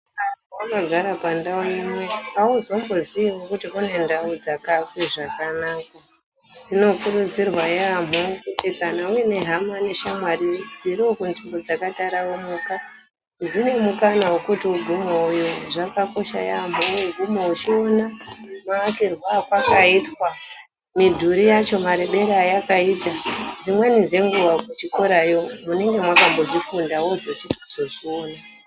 Wakagara pandau imwe hauzomboziiwo kuti kune ndau dzakaakwa zvakanaka. Zvinokurudzirwa yaamho kuti kana uine hama neshamwari dzirimwo munzvimbo dzakataranuka dzinewo mukana wekuti ugumewowoyo zvakakosha yaamho kuti ugume uchiona maakirwe apakaitwa midhuri yacho marebere ayakaita dzimwe dzenguwa kuchikoroyo munenge makambozvifunda wozochiona.